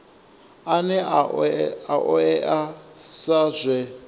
ane a oea sa zwe